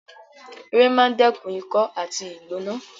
Ewé máa ń dẹ́kun ikọ́ àti ìgbóná